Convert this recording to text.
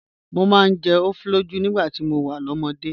Mo máa ń jẹ ofoloju nígbà tí mo wà lọ́mọdé.